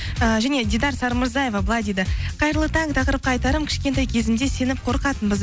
ііі және дидар сарымырзаева былай дейді қайырлы таң тақырыпқа айтарым кішкентай кезімде сеніп қорқатынбыз